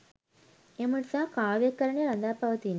එම නිසා කාව්‍යකරණය රඳා පවතින්නේ